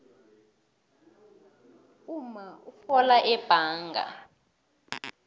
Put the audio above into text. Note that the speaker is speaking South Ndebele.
umma urhola ebhanga